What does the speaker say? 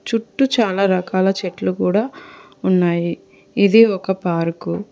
చుట్టు చాలా రకాల చెట్లు కూడా ఉన్నాయి ఇది ఒక పార్కు .